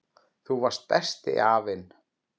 Þú varst besti afinn.